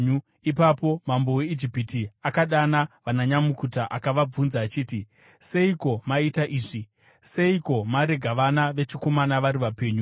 Ipapo mambo weIjipiti akadana vananyamukuta akavabvunza achiti, “Seiko maita izvi? Seiko marega vana vechikomana vari vapenyu?”